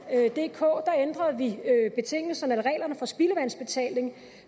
for at ændrede vi betingelserne eller reglerne for spildevandsbetaling